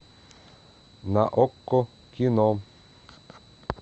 на окко кино